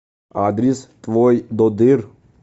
адрес твойдодыр